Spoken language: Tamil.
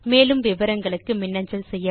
மேற்கொண்டு விவரங்களுக்கு தொடர்பு கொள்ளவும்